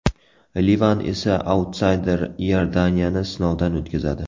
Livan esa autsayder Iordaniyani sinovdan o‘tkazadi.